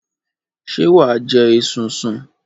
Ṣé wà á jẹ esunsun?